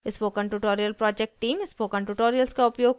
spoken tutorial project team